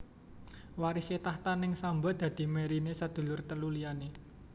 Warisé takhta neng Samba dadi mèriné sedulur telu liyané